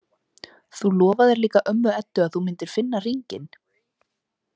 Þú lofaðir líka ömmu Eddu að þú myndir finna hringinn